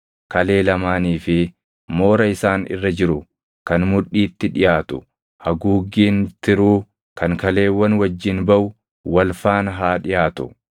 kalee lamaanii fi moora isaan irra jiru kan mudhiitti dhiʼaatu, haguuggiin tiruu kan kaleewwan wajjin baʼu wal faana haa dhiʼaatu.